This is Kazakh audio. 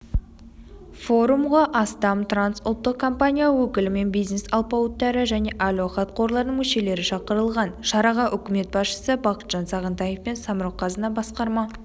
форумға астам трансұлттық компания өкілі мен бизнес алпауыттары және әл-ауқат қорларының мүшелері шақырылған шараға үкімет басшысы бақытжан сағынтаев пен самрұқ-қазына басқарма